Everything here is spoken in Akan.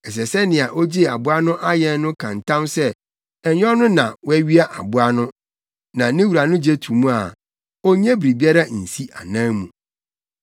ɛsɛ sɛ nea ogyee aboa no ayɛn no ka ntam sɛ ɛnyɛ ɔno na wawia aboa no, na ne wura no gye to mu a, onnye biribiara nsi anan mu.